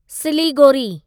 Siliguri